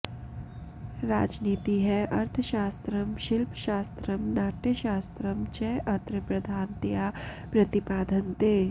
राजनीतिः अर्थशास्त्रम् शिल्पशास्त्रम् नाट्यशास्त्रम् च अत्र प्रधानतया प्रतिपाद्यन्ते